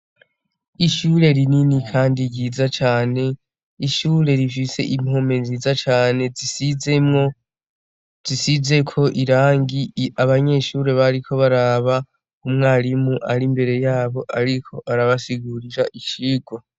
Ishure rinini kandi ryiza cane ishure rifise impome nziza cane risize ko irangi abanyeshure bariko bararaba imbere yabo uwmisgisha yariko arabasigurira icigwa.